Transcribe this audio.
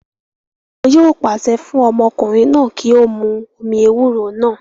Wọn yóò pàṣẹ fún ọmọkùnrin náà kí ó mu omi ewúro náà